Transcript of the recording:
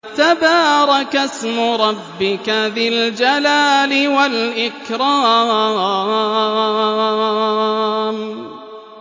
تَبَارَكَ اسْمُ رَبِّكَ ذِي الْجَلَالِ وَالْإِكْرَامِ